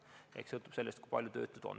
Eks kõik sõltub sellest, kui palju töötuid on.